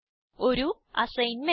ഒരു അസൈൻമെന്റ്